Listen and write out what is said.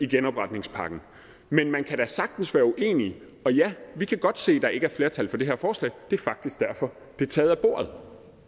genopretningspakken men man kan da sagtens være uenig og ja vi kan godt se at der ikke er flertal for det her forslag det er faktisk derfor det er taget af bordet